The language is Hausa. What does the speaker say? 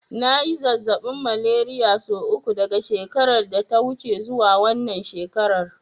Na yi zazzaɓin Malariya sau uku daga shekarar da ta wuce zuwa wannan shekarar.